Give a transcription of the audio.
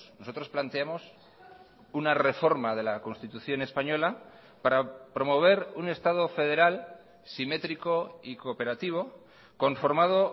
nosotros planteamos una reforma de la constitución española para promover un estado federal simétrico y cooperativo conformado